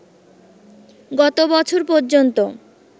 গত বছর পর্যন্ত